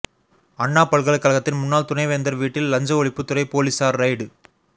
அண்ணா பல்கலைக்கழகத்தின் முன்னாள் துணை வேந்தர் வீட்டில் லஞ்ச ஒழிப்பு துறை போலீஸார் ரெய்டு